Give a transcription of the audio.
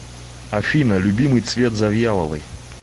афина любимый цвет завьяловой